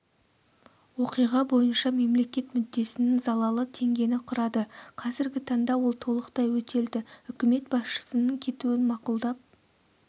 оқиға бойынша мемлекет мүддесінің залалы теңгені құрады қазіргі таңда ол толықтай өтелді үкімет басшысының кетуін мақұлдап